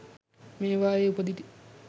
මේවායේ උපදිති